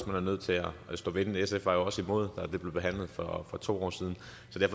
man er nødt til at stå ved den sf var jo også imod da det blev behandlet for to år siden